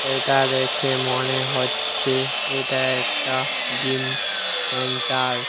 এটা দেখে মনে হচ্ছে এটা একটা জিম সেন্টার ।